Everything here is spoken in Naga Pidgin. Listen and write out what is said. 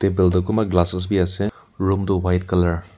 tel teh kunba glasses bhi ase room tu white colour .